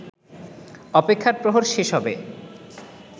অপেক্ষার প্রহর শেষ হবে